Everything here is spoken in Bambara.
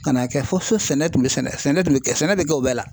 Ka n'a kɛ fo so sɛnɛ tun bɛ sɛnɛ tun bɛ kɛ sɛnɛ bɛ kɛ o bɛɛ la.